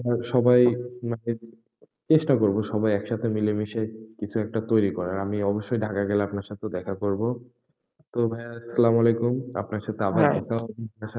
আমরা সবাই, মানে চেষ্টা করবো সবাই একসাথে মিলে মিশে কিছু একটা তৈরি করার, আমি অবশ্যই ঢাকা গেলে আপনার সাথে দেখা করবো। তো ভাইয়া আসসালামু আলাইকুম। আপনার সাথে আবার দেখা হবে,